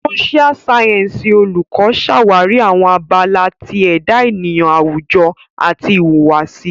Social Sciences Oluko ṣawari awọn abala ti eda eniyan awujo ati ihuwasi.